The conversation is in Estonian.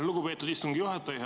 Lugupeetud istungi juhataja!